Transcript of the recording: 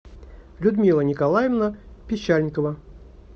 людмила николаевна пищальникова